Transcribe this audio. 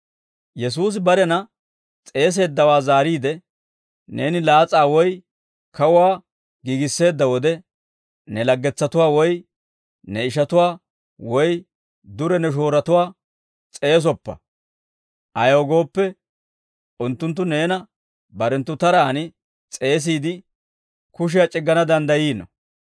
Yesuusi barena s'eeseeddawaa zaariide, «Neeni laas'aa woy kawuwaa giigisseedda wode, ne laggetsatuwaa woy ne ishatuwaa woy dure ne shooratuwaa s'eesoppa; ayaw gooppe, unttunttu neena barenttu taraan s'eesiide kushiyaa c'iggana danddayiino.